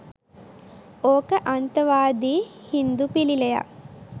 ඕක අන්තවාදී හින්දු පිළිලයක්